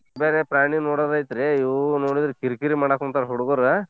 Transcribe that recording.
ಬೇರೆ ಪ್ರಾಣಿ ನೋಡದೈತ್ರಿ ಇವು ನೋಡಿದ್ರ ಕಿರಿ ಕಿರಿ ಮಡಾಕುಂತಾವ್ ಹುಡ್ಗುರು.